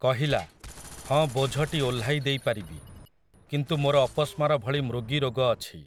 କହିଲା, ହଁ ବୋଝଟି ଓହ୍ଲାଇ ଦେଇ ପାରିବି, କିନ୍ତୁ ମୋର ଅପସ୍ମାର ଭଳି ମୃଗୀ ରୋଗ ଅଛି ।